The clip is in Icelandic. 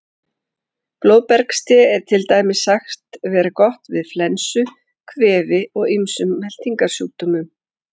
Blóðbergste er til dæmis sagt vera gott við flensu, kvefi og ýmsum meltingarsjúkdómum.